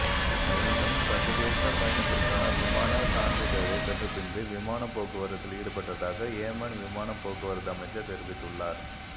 எனினும் சர்வதேச பயணத்திற்கான விமான சான்றிதளை பெற்ற பின்பே விமானம் போக்குவரத்தில் ஈடுபடுத்தப்பட்டதாக யேமன் விமான போக்குவரத்து அமைச்சர் தெரிவித்துள்ளார்